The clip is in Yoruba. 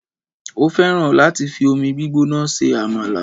o fẹràn láti fi omi gbígbóná se amala